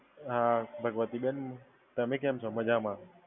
અ ભગવતીબેન, તમે કેમ છો? મજામાં.